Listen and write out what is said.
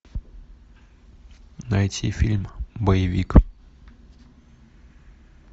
найти фильм боевик